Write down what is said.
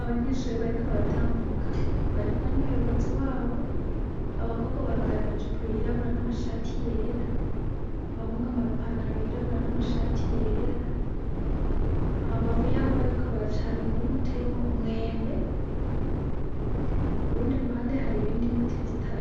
Abanyeshure bariko baratambuka bari kumwe n'umuyobozi wabo abakobwa bambaye amajipo yirabura n'amashati yera, abahungu ama pantalo y'irabura n'amashati yera hambavu yaho bariko baraca hari umurima uteyemwo umwembe kurundi ruhande hari ibindi biti